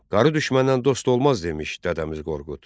Qarı düşməndən dost olmaz demiş Dədəmiz Qorqud.